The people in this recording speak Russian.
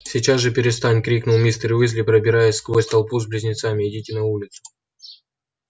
сейчас же перестань крикнул мистер уизли продираясь сквозь толпу с близнецами идите на улицу